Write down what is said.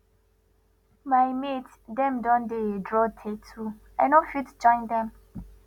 my mate dem don dey draw tatoo i no fit join dem